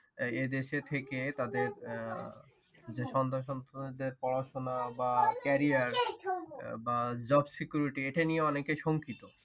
এ দেশে থেকে তাদের যে সন্তান সন্ততিদের পড়া শোনা বা career বা job security এটা নিয়ে অনেকে শঙ্কিত।